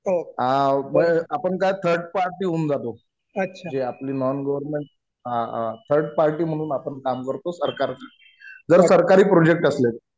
आपण काय third party होऊन जातो. जे आपले नॉन गव्हर्मेंट थर्ड पार्टी म्हणून आपण काम करतो सरकार जर सरकारी प्रोजेक्ट असले तर.